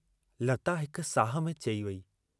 लता हिक साह में चई वेई।